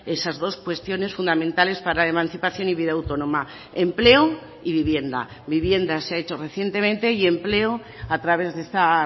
esas dos cuestiones fundamentales para la emancipación y vida autónoma empleo y vivienda vivienda se ha hecho recientemente y empleo a través de esta